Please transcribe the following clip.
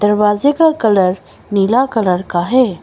दरवाजे का कलर नीला कलर का है।